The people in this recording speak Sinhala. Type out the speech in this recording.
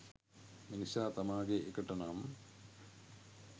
මිනිසා තමාගේ එකට නම්